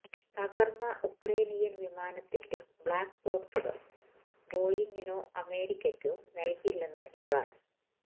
തകർന്ന ഉക്രേനിയൻ വിമാനത്തിന്റെ ബ്ലാക് ബോക്സുകൾ ബോയിങ്ങിനോ അമേരിക്കയ്ക്കോ നൽകില്ലെന്ന് ഇറാൻ